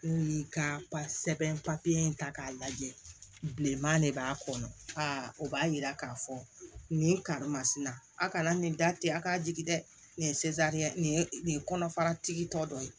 Ni ka sɛbɛn papiye in ta k'a lajɛ bilenman de b'a kɔnɔ a b'a jira k'a fɔ nin karimasina a kana nin da ten a k'a jigi dɛ nin ye nin ye nin ye kɔnɔfaratigi tɔ dɔ ye